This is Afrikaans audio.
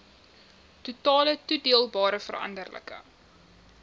totale toedeelbare veranderlike